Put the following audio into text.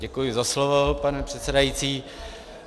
Děkuji za slovo, pane předsedající.